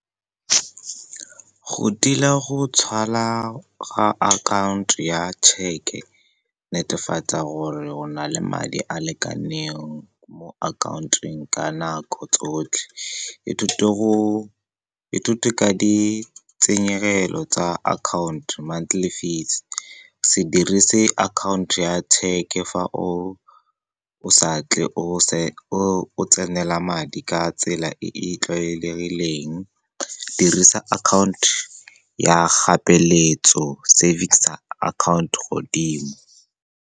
Go tila go tswala ga akhaonto ya tšheke, netefatsa gore go na le madi a a lekaneng mo akhaontong ka nako tsotlhe. Ithute ka ditshenyegelo tsa account, monthly fees. Se dirise account ya tšheke fa o sa tle o tsenela madi ka tsela e e tlwaelegileng, dirisa account ya ga peeletso, savings account godimo.